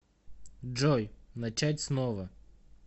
джой начать снова